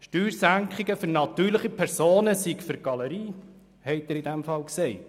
Steuersenkungen für natürliche Personen seien für die Galerie, haben Sie also gesagt.